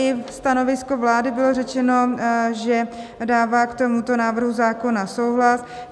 I ve stanovisku vlády bylo řečeno, že dává k tomuto návrhu zákona souhlas.